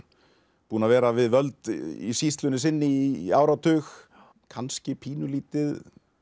búinn að vera við völd í sýslunni sinni í áratug kannski pínulítið